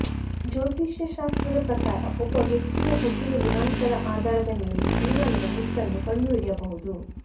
ಜೋತಿಷ್ಯ ಶಾಸ್ತ್ರದ ಪ್ರಕಾರ ಒಬ್ಬ ವ್ಯಕ್ತಿಯ ಹುಟ್ಟಿದ ದಿನಾಂಕದ ಆಧಾರದ ಮೇಲೆ ಜೀವನದ ಗುಟ್ಟನ್ನು ಕಂಡು ಹಿಡಿಯಬಹುದು